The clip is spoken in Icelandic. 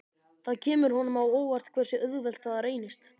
Það kemur honum á óvart hversu auðvelt það reynist.